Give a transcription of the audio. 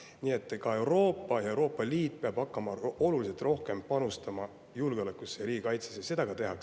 Nii et Euroopa ja Euroopa Liit peavad hakkama oluliselt rohkem julgeolekusse ja riigikaitsesse panustama.